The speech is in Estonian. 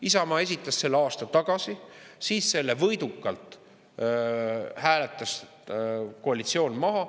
Isamaa esitas selle aasta tagasi, siis selle võidukalt hääletas koalitsioon maha.